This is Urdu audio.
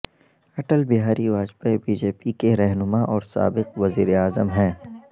Atal Bihari Vajpayee B J P کے رہنما اور سابق وزیر اعظم ہیں